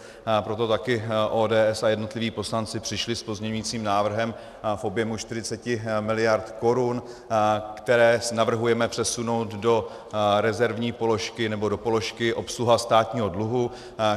Proto taky ODS a jednotliví poslanci přišli s pozměňovacím návrhem v objemu 40 miliard korun, které navrhujeme přesunout do rezervní položky nebo do položky obsluha státního dluhu.